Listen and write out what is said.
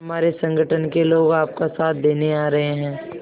हमारे संगठन के लोग आपका साथ देने आ रहे हैं